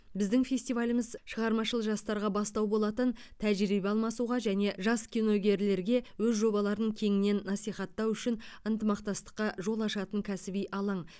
біздің фестиваліміз шығармашыл жастарға бастау болатын тәжірибе алмасуға және жас киногерлерге өз жобаларын кеңінен насихаттау үшін ынтымақстастыққа жол ашатын кәсіби алаң